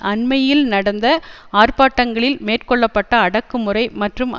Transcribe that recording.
அண்மையில் நடந்த ஆர்ப்பாட்டங்களில் மேற்கொள்ள பட்ட அடக்குமுறை மற்றும்